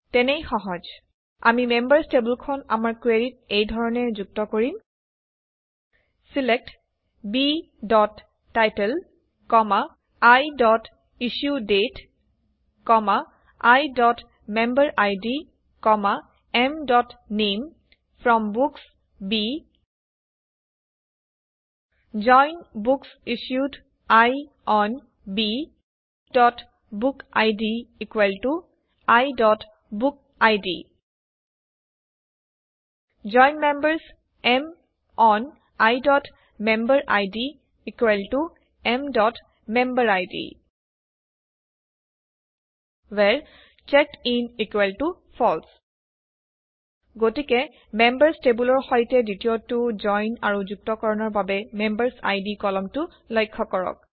তেনেই সহজ আমি মেম্বাৰচ টেবুলখন আমাৰ কুৱেৰিত এই ধৰণে যুক্ত কৰিম ছিলেক্ট bটাইটেল iইছ্যুডেট iমেম্বেৰিড mনামে from books B join book issued I on bবুকিড iবুকিড জইন মেম্বাৰ্ছ M অন iমেম্বেৰিড mমেম্বেৰিড ৱ্হেৰে চেকডিন ফালছে গতিকে মেম্বাৰচ টেবুলৰ সৈতে দ্বিতীয়টো জইন আৰু যুক্তকৰণৰ বাবে মেম্বাৰচআইডি কলমটো লক্ষ্য কৰক